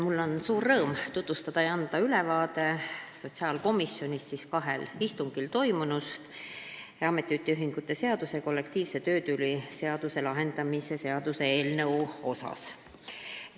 Mul on suur rõõm anda ülevaade sotsiaalkomisjoni kahel istungil toimunud ametiühingute seaduse ja kollektiivse töötüli lahendamise seaduse muutmise seaduse eelnõu arutelust.